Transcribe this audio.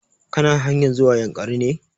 Ka na hanyar zuwa yankari ne?